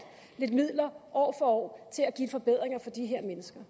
lidt midler år for år til at give forbedringer til de her mennesker